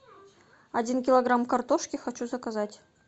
один килограмм картошки хочу заказать